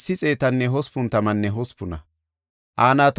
Iyaarkon de7iya asay 345;